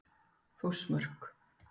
Þórsmörk